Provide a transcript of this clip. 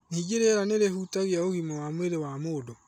Ningĩ rĩera nĩ rĩhutagia ũgima wa mwĩrĩ wa mũndũ.